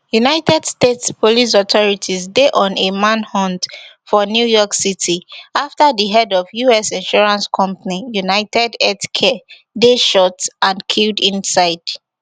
united states police authorities dey on a manhunt for new york city after di head of us insurance company unitedhealthcare dey shot and killed inside